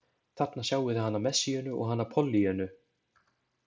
Þarna sjáið þið hana Messíönu og hana Pollýönnu.